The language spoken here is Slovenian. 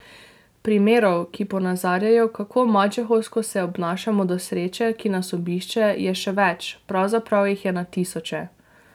Primerov, ki ponazarjajo, kako mačehovsko se obnašamo do sreče, ki nas obišče, je še več, pravzaprav jih je na tisoče.